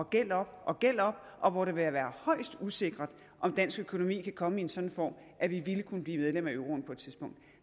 gæld op og gæld op og hvor det vil være højst usikkert om dansk økonomi kan komme i en sådan form at vi ville kunne blive medlem af euroen på et tidspunkt